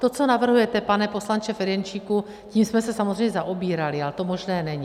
To, co navrhujete, pane poslanče Ferjenčíku, tím jsme se samozřejmě zaobírali, ale to možné není.